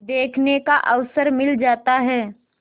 देखने का अवसर मिल जाता है